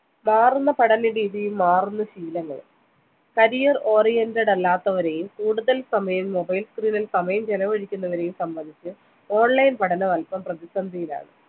മാറുന്ന പഠനരീതിയും മാറുന്ന ശീലങ്ങളും career oriented അല്ലാത്തവരെയും കൂടുതൽ സമയം mobile screen ൽ സമയം ചിലവഴിക്കുന്നവരേയും സംബന്ധിച്ച് online പഠനം അൽപം പ്രതിസന്ധിയിലാണ്